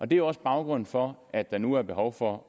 det er også baggrunden for at der nu er behov for